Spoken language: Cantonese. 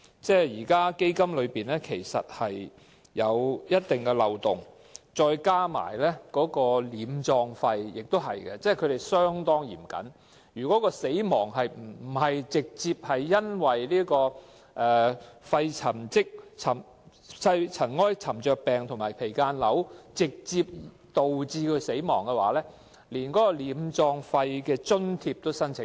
現時基金存有一定漏洞，再加上殮葬費的規定也是相當嚴謹，如果病人不是直接因為肺塵埃沉着病或間皮瘤導致死亡，連殮葬費的津貼也無法申請。